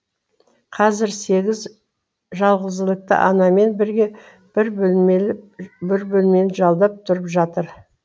қазір сегіз жалғызілікті анамен бірге бір бөлмені жалдап тұрып жатыр